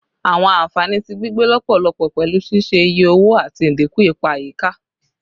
Awọn anfani ti gbigbe lọpọlọpọ pẹlu ṣiṣe iye owo ati idinku ipa ayika